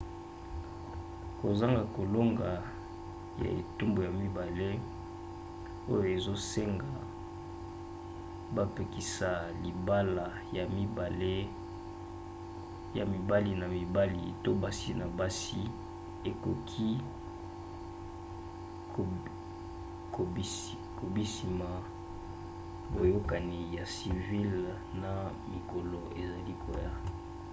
kozanga kolonga ya etumbu ya mibale oyo ezosenga bapekisa libala ya mibali na mibali to basi na basi ekoki kobimisa boyokani ya civile na mikolo ezali koya